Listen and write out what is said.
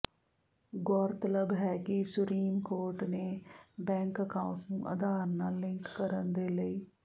ਗੌਰਤਲਬ ਹੈ ਕਿ supreme court ਨੇ ਬੈਂਕ ਅਕਾਊਂਟ ਨੂੰ ਅਧਾਰ ਨਾਲ ਲਿੰਕ ਕਰਨ ਦੇ ਲਈ